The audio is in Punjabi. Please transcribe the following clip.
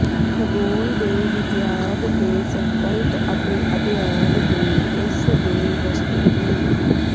ਖਗੋਲ ਦੇ ਵਿਗਿਆਨ ਦੇ ਸੰਕਲਪ ਅਤੇ ਅਧਿਐਨ ਦੇ ਇਸ ਦੇ ਵਸਤੂ ਨੂੰ